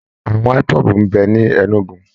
Àwọn IPOB ń bẹ ni Enugu